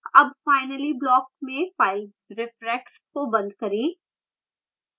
अब finally block में file reference को बंद करें